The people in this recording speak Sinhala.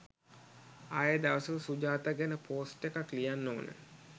ආයේ දවසක සුජාතා ගැන පෝස්ට් එකක් ලියන්න ඕන